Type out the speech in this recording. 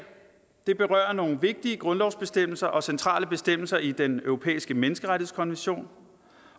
berører nogle vigtige grundlovsbestemmelser og centrale bestemmelser i den europæiske menneskerettighedskonvention